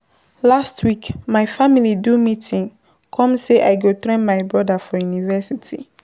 Last week, my family do meeting come sey I go train my broda for university.